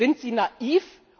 Sind Sie naiv?